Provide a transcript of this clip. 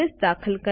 દાખલ કરો